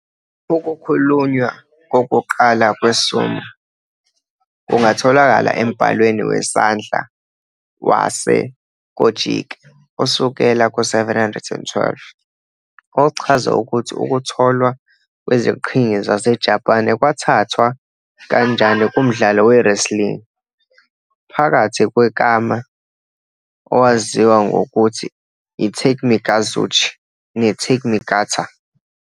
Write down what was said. Ukukhulunywa kokuqala kwe-sumo kungatholakala embhalweni wesandla waseKojiki osukela ku-712, ochaza ukuthi ukutholwa kweziqhingi zaseJapan kwathathwa kanjani kumdlalo we-wrestling phakathi kwekami owaziwa ngokuthi yiTakemikazuchi neTakeminakata.